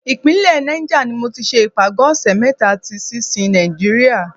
Ìpínlẹ̀ Niger ni mo ti ṣe ìpàgọ́ ọ̀ṣẹ̀ mẹ́ta ti sinsin Nàìjíríà.